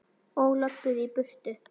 Og löbbuðu í burtu.